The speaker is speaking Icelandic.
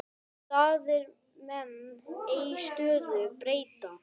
Staðir menn ei stöðu breyta.